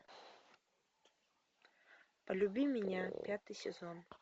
полюби меня пятый сезон